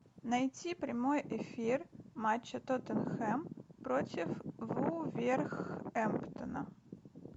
найти прямой эфир матча тоттенхэм против вулверхэмптона